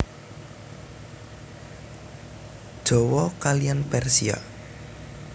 Jawa kaliyan Persia